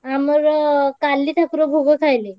ଆମର କାଲି ଠାକୁର ଭୋଗ ଖାଇଲେ।